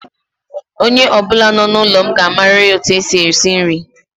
Onye ọbụla nọ n'ụlọ m ga-amariri etu e si esi nri.